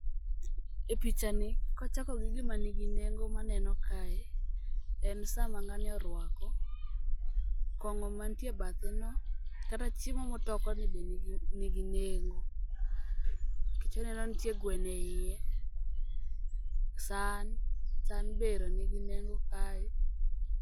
Epichani kachako gi gima nigi nengo maneno kae en saa ma ng'ani oruako, kong'o mantie ebathe no, kata chiemo motokoni be nigi nengo nikech aneno nitie gweno eiye. San, san be nigi nengo kae.